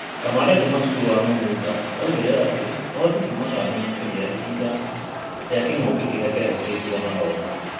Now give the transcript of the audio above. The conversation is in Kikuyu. Kamande kuma cukuru wa Mũnunga augire atĩ ũhoti kuma kambĩ makĩria Ihinda rĩa kĩng'ũki kĩrĩa kĩahingĩcire gĩthomo.